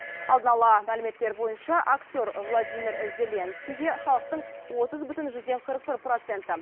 алдын ала мәліметтер бойынша актер владимир зеленскийге халықтың отыз бүтін жүзден қырық бір проценті